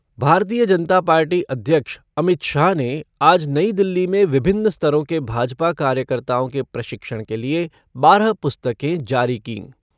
भारतीय जनता पार्टी अध्यक्ष अमित शाह ने आज नई दिल्ली में विभिन्न स्तरों के भाजपा कार्यकर्ताओं के प्रशिक्षण के लिए बारह पुस्तकें जारी कीं।